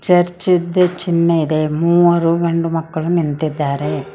Church ದ ಚಿನ್ಹೆ ಇದೆ ಮೂರು ಗಂಡು ಮಕ್ಕಳು ನಿಂತಿದ್ದಾರೆ.